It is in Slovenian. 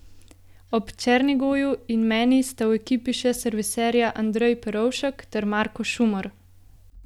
Ob Černigoju in meni sta v ekipi še serviserja Andrej Perovšek ter Marko Šumer.